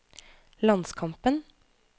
landskampen